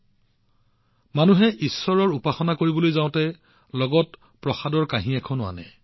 যিদৰে মানুহে ঈশ্বৰৰ উপাসনা কৰিবলৈ যায় তেওঁলোকে লগত প্ৰসাদৰ থাল এখন লৈ আহে